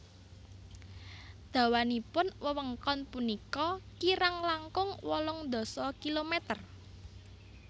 Dawanipun wewengkon punika kirang langkung wolung dasa kilometer